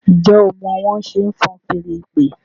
njé o má wón ṣe fọ́n Fèèrè ìpè?